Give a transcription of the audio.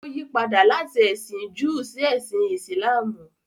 Ó yí padà láti ẹ̀sìn Júù sí ẹsìn Ìsìlámù.